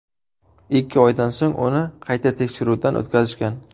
Ikki oydan so‘ng uni qayta tekshiruvdan o‘tkazishgan.